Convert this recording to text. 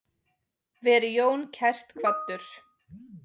Veri Jón kært kvaddur.